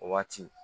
O waati